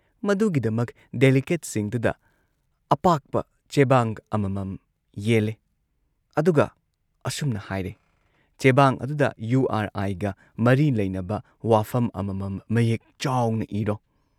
ꯃꯗꯨꯒꯤꯗꯃꯛ ꯗꯦꯂꯤꯒꯦꯠꯁꯤꯡꯗꯨꯗ ꯑꯄꯥꯛꯄ ꯆꯦꯕꯥꯡ ꯑꯃꯃꯝ ꯌꯦꯜꯂꯦ ꯑꯗꯨꯒ ꯑꯁꯨꯝꯅ ꯍꯥꯏꯔꯦ "ꯆꯦꯕꯥꯡ ꯑꯗꯨꯗ ꯌꯨ ꯑꯥꯔ ꯑꯥꯏꯒ ꯃꯔꯤ ꯂꯩꯅꯕ ꯋꯥꯐꯝ ꯑꯃꯃꯝ ꯃꯌꯦꯛ ꯆꯥꯎꯅ ꯏꯔꯣ